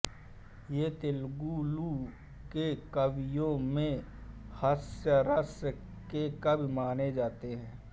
ये तेलुगु के कवियों में हास्यरस के कवि माने जाते हैं